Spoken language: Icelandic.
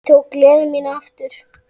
Ég tók gleði mína aftur.